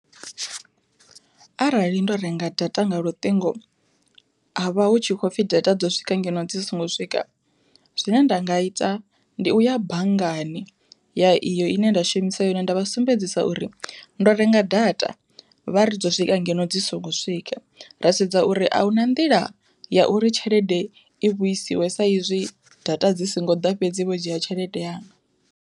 Arali ndo renga data nga luṱingo havha hu tshi khou pfhi data dzo swika ngeno dzi songo swika, zwine nda nga ita ndi u ya banngani ya iyo ine nda shumisa yone nda vha sumbedzisa uri ndo renga data vha ri dzo swika ngeno dzi songo swika, ra sedza uri ahuna nḓila ya uri tshelede i vhuisiwe sa izwi data dzi songo ḓa fhedzi vho dzhia tshelede yanga.